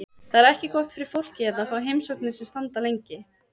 Það er ekki gott fyrir fólkið hérna að fá heimsóknir sem standa lengi.